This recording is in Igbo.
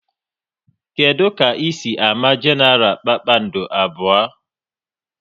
Kedụ ka ị si ámá Genaral kpakpando abụọ?